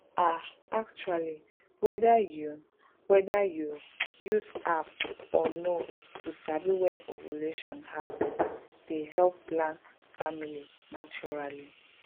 ah actually whether you whether you use app or no to sabi when ovulation happen dey help plan family naturally.